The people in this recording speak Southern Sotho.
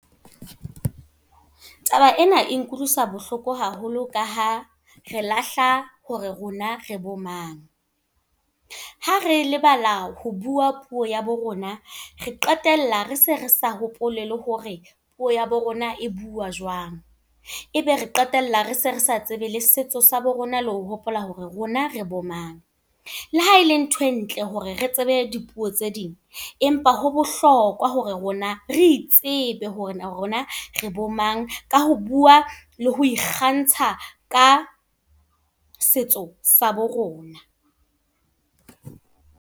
Taba ena e nkutlwisa bohloko haholo ka ha, re lahla hore rona re bo mang. Ha re lebala ho bua puo ya bo rona, re qetella rese re sa hopole le hore puo ya bo rona e buuwa jwang. Ebe re qetella rese resa tsebe le setso sa bo rona, le ho hopola hore rona re bo mang. Le ha le ntho e ntle hore re tsebe dipuo tse ding. Empa ho bohlokwa hore rona, re itsebe hore rona re bo mang. Ka ho bua, le ho ikgantsha ka setso sa bo rona.